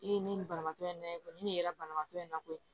Ee ne ye nin banabaatɔ in lajɛ kɔni ne ye banabaatɔ in na koyi